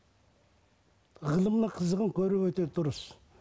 ғылымның қызығын көру өте дұрыс